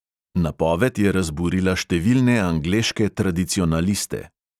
Napoved je razburila številne angleške tradicionaliste.